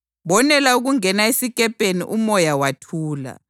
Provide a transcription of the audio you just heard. Bonela ukungena esikepeni umoya wathula.